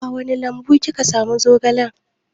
A wani lambu kika samu zogalan?